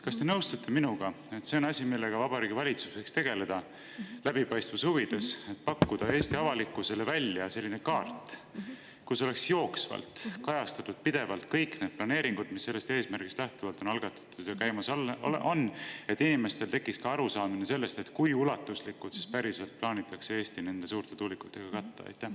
Kas te nõustute minuga, et see on asi, millega Vabariigi Valitsus võiks tegeleda läbipaistvuse huvides, et pakkuda Eesti avalikkusele välja selline kaart, kus oleks jooksvalt ja pidevalt kajastatud kõik need planeeringud, mis sellest eesmärgist lähtuvalt on algatatud või käimas, et inimestel tekiks ka arusaamine sellest, kui ulatuslikult plaanitakse Eesti päriselt nende suurte tuulikutega katta?